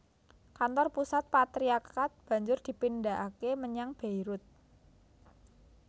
Kantor pusat patriarkat banjur dipindhahaké menyang Beirut